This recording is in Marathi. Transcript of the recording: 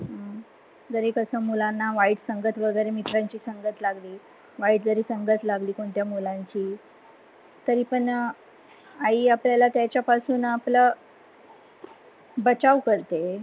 जर ही कसाह मुलाना वाईट संगत वगैरे मित्रांची संगत लागली वाईट संगत लागली कोणत्या मुलाची तरी पणतरी पण आई आपल त्याच्यपासुन आपला बचाव करते.